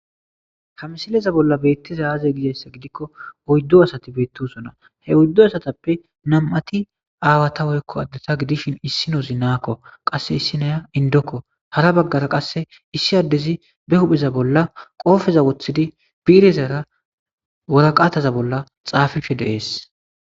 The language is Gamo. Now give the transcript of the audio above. ha misileza bolla beettiza aaze gizayssa gidikko oyddo asati beettosona he oyddo asatappe nam7ati aawata woykko addeta gidishin issi noozi naakko qasse issi naya indokko hara baggara qasse issi addezi be hupheza bolla qoofeza woththidi biirezara woraqaataza bolla xaafife deees